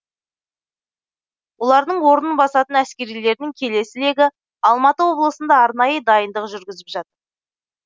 олардың орнын басатын әскерилердің келесі легі алматы облысында арнайы дайындық жүргізіп жатыр